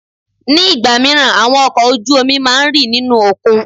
Ní ìgbà míràn, àwọn ọkọ̀ ojú omi máa ń rì nínú òkun.